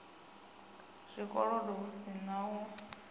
zwikolodo hu si u a